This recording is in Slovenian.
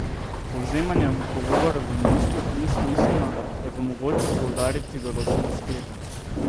Povzemanje pogovorov v Minsku ni smiselno, je pa mogoče poudariti določene sklepe.